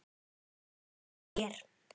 Ég trúi þér